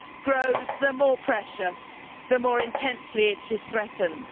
grows more precious the more intensely it is threatened.